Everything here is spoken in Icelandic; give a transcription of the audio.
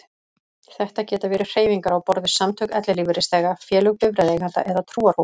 Þetta geta verið hreyfingar á borð við samtök ellilífeyrisþega, félög bifreiðaeigenda eða trúarhópar.